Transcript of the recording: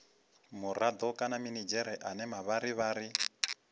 murado kana minidzhere ane mavharivhari